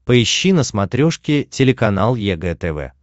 поищи на смотрешке телеканал егэ тв